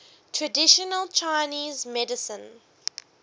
traditional chinese medicine